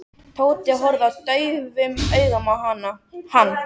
Tóti horfði daufum augum á hann.